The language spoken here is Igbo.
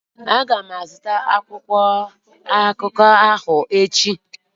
Aga m azụta akwụkwọ akụkọ ahụ echi.